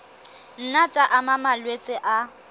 nna tsa ama malwetse a